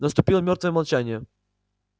наступило мёртвое молчание